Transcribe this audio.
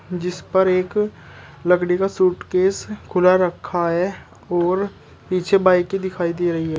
जिस पर एक लकड़ी का सूटकेस खुला रखा है और पीछे बाइके दिखाई दे रही है।